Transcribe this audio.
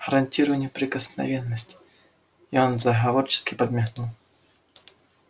гарантирую неприкосновенность и он заговорщически подмигнул